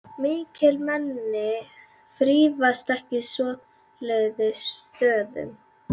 Mikilmenni þrífast ekki á svoleiðis stöðum.